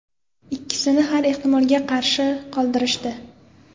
Ikkinchisini har ehtimolga qarshi qoldirishdi.